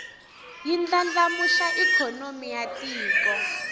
yi ndlandlamuxa ikhonomi ya tiko